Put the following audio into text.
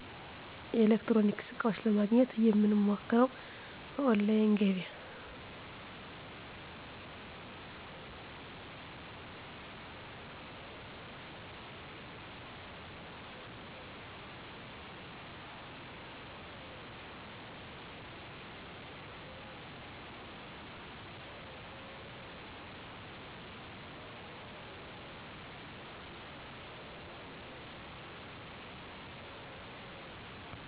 ኤሌክትሮኒክስ ዕቃዎች ለማግኘት የምንሞክረው በኦላይን ገበያ